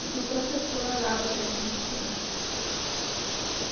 E fui professora lá durante muito tempo.